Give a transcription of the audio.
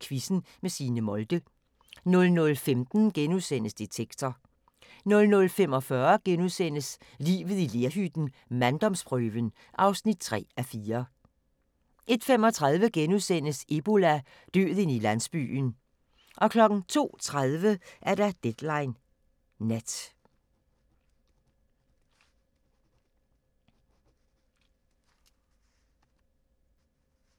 Quizzen med Signe Molde * 00:15: Detektor * 00:45: Livet i lerhytten - manddomsprøven (3:4)* 01:35: Ebola – døden i landsbyen * 02:30: Deadline Nat